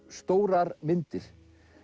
stórar myndir